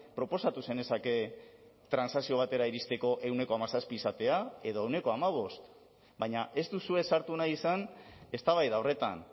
proposatu zenezake transakzio batera iristeko ehuneko hamazazpi izatea edo ehuneko hamabost baina ez duzue sartu nahi izan eztabaida horretan